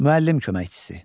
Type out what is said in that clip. Müəllim köməkçisi.